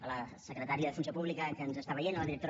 a la secretària de funció pública que ens està veient a la directora